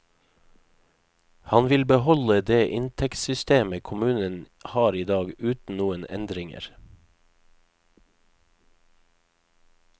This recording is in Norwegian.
Han vil beholde det inntektssystemet kommunen har i dag uten noen endringer.